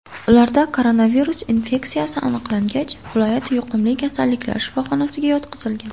Ularda koronavirus infeksiyasi aniqlangach, viloyat yuqumli kasalliklar shifoxonasiga yotqizilgan.